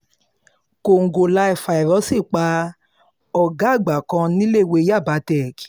kòǹgóláfàíróòsì pa ọ̀gá àgbà kan níléèwé yaba tech